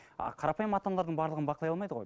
а қарапайым ата аналардың барлығын бақылай алмайды ғой